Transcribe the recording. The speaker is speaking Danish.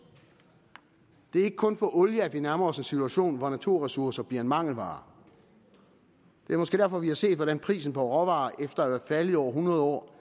det er ikke kun olie at vi nærmer os en situation hvor naturressourcer bliver en mangelvare det er måske derfor vi har set hvordan prisen på råvarer efter at være faldet i over hundrede år